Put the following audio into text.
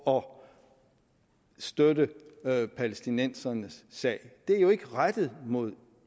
om at støtte palæstinenserne sag det er jo ikke rettet mod